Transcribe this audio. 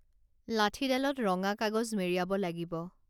লাঠীডালত ৰঙা কাগজ মেৰিয়াব লাগিব